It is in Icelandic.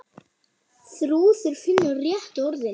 Þrúður finnur réttu orðin.